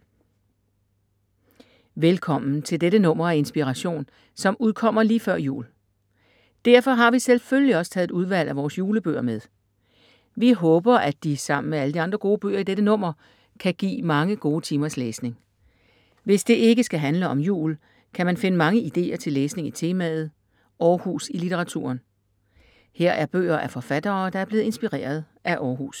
Velkommen til dette nummer af Inspiration som udkommer lige før jul. Derfor har vi selvfølgelig også taget et udvalg af vores julebøger med. Vi håber at de, sammen med alle de andre gode bøger i dette nummer, kan give mange gode timers læsning. Hvis det ikke skal handle om jul, kan man finde mange idéer til læsning i temaet: Århus i litteraturen. Her er bøger af forfattere, der er blevet inspireret af Århus.